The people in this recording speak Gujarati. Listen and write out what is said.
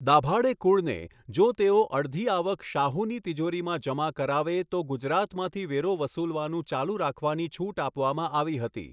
દભાડે કુળને, જો તેઓ અડધી આવક શાહુની તિજોરીમાં જમા કરાવે તો ગુજરાતમાંથી વેરો વસૂલવાનું ચાલુ રાખવાની છૂટ આપવામાં આવી હતી